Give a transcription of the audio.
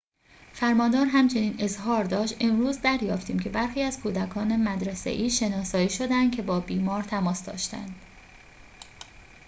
فرماندار همچنین اظهار داشت امروز دریافتیم که برخی از کودکان مدرسه‌ای شناسایی شده‌اند که با بیمار تماس داشته‌اند